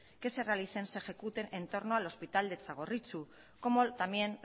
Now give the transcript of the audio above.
que se realicen se ejecuten entorno al hospital de txagorritxu como también